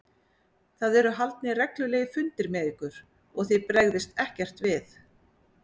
Það eru haldnir reglulegir fundir með ykkur og þið bregðist ekkert við?